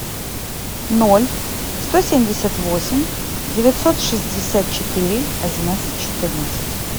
ноль сто семьдесят восемь девятьсот шестьдесят четыре одиннадцать четырнадцать